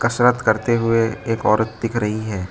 कसरत करते हुए एक औरत दिख रही है।